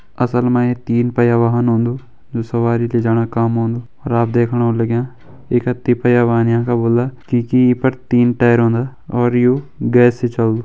असल मा ये तीन पहया वाहन होंदु जु सवारी लीजाणा काम आन्दु अर आप देखण होण लग्यां ये का ति पहया वाहन यांका बोल्दा क्यूंकि ये पर तीन टायर रोंदा और यू गैस से चल्दु।